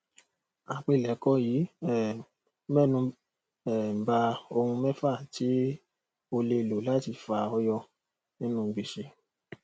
àpilèkọ yìí um mẹnu um bá ohun mẹfà tí o lè lò láti fà ọ yọ nínú gbèsè